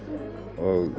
og